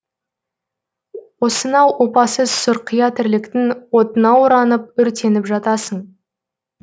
осынау опасыз сұрқия тірліктің отына оранып өртеніп жатасың